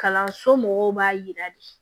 Kalanso mɔgɔw b'a yira de